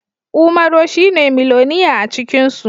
Umaro shine miloniya acikinsu